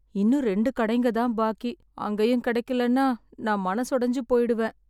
இன்னும் ரெண்டு கடைங்க தான் பாக்கி. அங்கேயும் கிடைக்கலன்னா நான் மனசொடஞ்சு போயிடுவேன்.